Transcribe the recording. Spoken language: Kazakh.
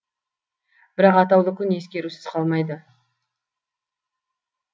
бірақ атаулы күн ескерусіз қалмайды